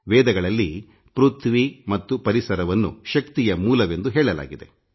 ವೇದಗಳಲ್ಲಿ ಪೃಥ್ವಿ ಮತ್ತು ಪರಿಸರವನ್ನು ಶಕ್ತಿಯ ಮೂಲವೆಂದು ಹೇಳಲಾಗಿದೆ